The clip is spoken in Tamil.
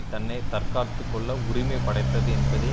தன்னை தற்காத்து கொள்ள உரிமை படைத்ததது என்பதை